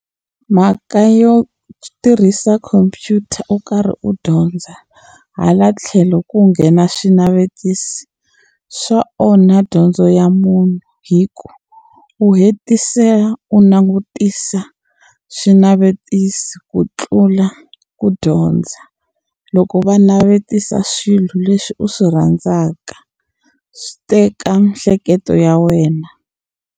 Mhaka yo tirhisa khompyuta u karhi u dyondza hala tlhelo ku nghena swinavetiso swa onha dyondzo ya munhu hi ku u hetisela u langutisa swinavetiso ku tlula ku dyondza loko va navetisa swilo leswi u swi rhandzaka swi teka miehleketo ya wena.